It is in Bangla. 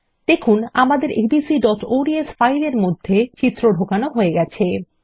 দেখুন আমাদের abcঅডস ফাইলের মধ্যে চিত্র ঢোকানো হয়ে গেছে